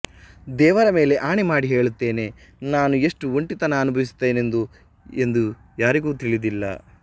ದೇವರ ಮೇಲೆ ಆಣೆ ಮಾಡಿ ಹೇಳುತ್ತೇನೆ ನಾನು ಎಷ್ಟು ಒಂಟಿತನ ಅನುಭವಿಸುತ್ತೇನೆಂದು ಎಂದು ಯಾರಿಗೂ ತಿಳಿದಿಲ್ಲ